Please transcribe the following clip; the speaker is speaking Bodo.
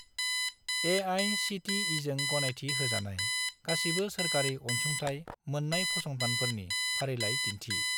ए.आइ.सि.टि.इ.जों गनायथि होजानाय गासिबो सोरखारि अनसुंथाइ मोन्नायफसंथानफोरनि फारिलाइ दिन्थि।